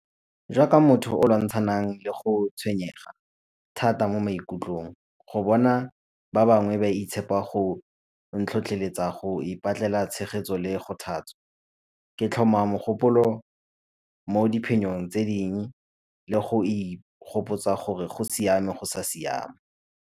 Jaaka motho o lwantshanang le go tshwenyega thata mo maikutlong, go bona ba bangwe ba itshepa go ntlhotlheletsa go ipatlela tshegetso le go . Ke tlhoma dikgopolo mo diphenyong tse dingwe le go ikgopotsa gore go siame go sa siama.